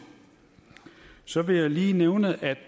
så vil jeg lige nævne at